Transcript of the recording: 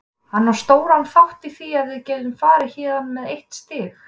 Hann á stóran þátt í því að við getum farið héðan með eitt stig.